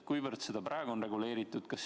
Kuivõrd seda praegu on reguleeritud?